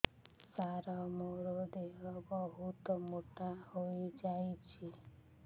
ସାର ମୋର ଦେହ ବହୁତ ମୋଟା ହୋଇଯାଉଛି